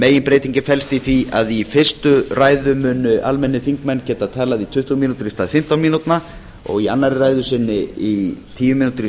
meginbreytingin felst í því að í fyrstu ræðum muni almennir þingmenn geta talað í tíu mínútur í stað fimmtán mínútna og í annarri ræðu sinni í tíu mínútur í